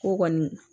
Ko kɔni